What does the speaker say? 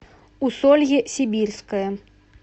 усолье сибирское